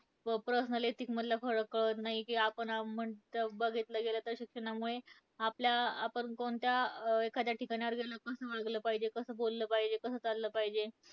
व personality मधला फरक कळत नाही. की आपण अं बघितलं गेलं तर शिक्षणामुळे आपल्या, आपण कोणत्या एखाद्या ठिकाणावर गेल्यावर कसं वागलं पाहिजे, कसं बोललं पाहिजे, कसं चाललं पाहिजे.